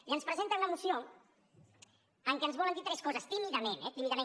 i ens presenten una moció en què ens volen dir tres coses tímidament eh tímidament